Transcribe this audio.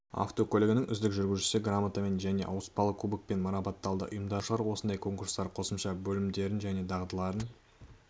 автокөлігінің үздік жүргізушісі грамотамен және ауыспалы кубокпен марапатталды ұйымдастырушылар осындай конкурстар қосымша білімдерін және дағдыларын